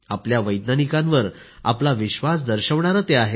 आपल्या वैज्ञानिकांवर आपला विश्वास दर्शवणारे आहे